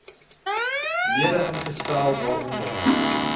lede ingestel waaronder